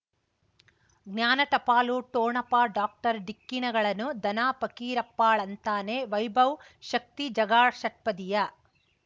ಜ್ಞಾನ ಟಪಾಲು ಠೊಣಪ ಡಾಕ್ಟರ್ ಢಿಕ್ಕಿ ಣಗಳನು ಧನ ಫಕೀರಪ್ಪ ಳಂತಾನೆ ವೈಭವ್ ಶಕ್ತಿ ಝಗಾ ಷಟ್ಪದಿಯ